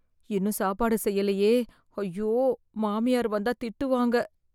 இன்னும் சாப்பாடு செய்யலையே ஐயோ மாமியார் வந்தா திட்டுவாங்க.